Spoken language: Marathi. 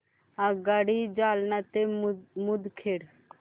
आगगाडी जालना ते मुदखेड